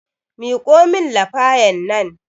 Miƙo min lafayan nan